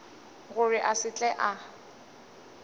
gore a se tle a